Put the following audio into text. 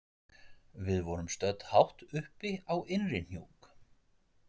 Við vorum stödd hátt uppi á Innrihnjúk.